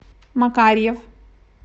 макарьев